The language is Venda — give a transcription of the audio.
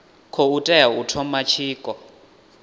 khou tea u thoma tshiko